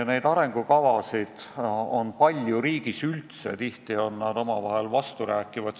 Neid arengukavasid on riigis üldse palju, tihti on nad omavahel vasturääkivad.